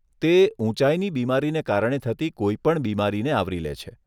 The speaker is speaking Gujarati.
તે ઊંચાઈની બીમારીને કારણે થતી કોઈપણ બીમારીને આવરી લે છે.